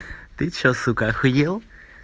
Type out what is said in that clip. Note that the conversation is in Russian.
ты что сука ахуел